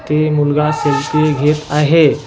ते मुलगा सेल्फी घेत आहे.